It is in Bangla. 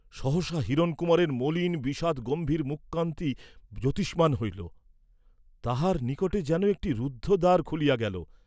সহসা হিরণকুমারের মলিন বিষাদগম্ভীর মুখকান্তি জ্যোতিষ্মান্ হইল, তাঁহার নিকটে যেন একটি রুদ্ধ দ্বার খুলিয়া গেল।